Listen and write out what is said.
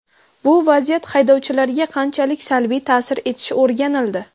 Bu vaziyat haydovchilarga qanchalik salbiy ta’sir etishi o‘rganildi.